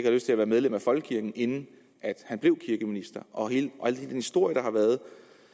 lyst til at være medlem af folkekirken inden han blev kirkeminister og hele den historie der har været